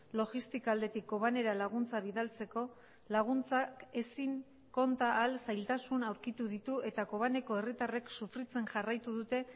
logistika aldetik cobanera laguntza bidaltzeko laguntzak ezin konta ahal zailtasun aurkitu ditu eta kobaneko herritarrek sufritzen jarraitu dute